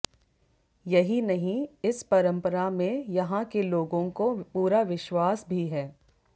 यही नहीं इस परंपरा में यहां के लोगों को पूरा विश्वास भी है